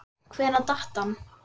Hvenær datt hann?